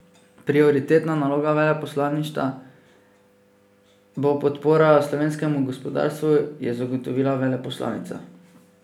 Prioritetna naloga veleposlaništva bo podpora slovenskemu gospodarstvu, je zagotovila veleposlanica.